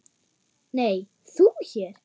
Nei, þú hér?